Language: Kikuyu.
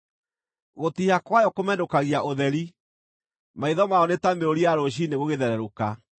Gũtiiha kwayo kũmenũkagia ũtheri; maitho mayo nĩ ta mĩrũri ya rũciinĩ gũgĩthererũka.